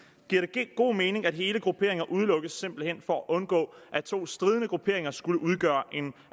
giver det god mening at hele grupperinger simpelt hen udelukkes for at undgå at to stridende grupperinger skulle udgøre en